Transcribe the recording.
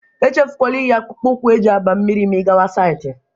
Echefukwala inyi akpụkpụ ụkwụ e ji aba mmiri ma ị gawa saịtị